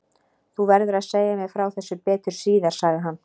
Þú verður að segja mér frá þessu betur síðar sagði hann.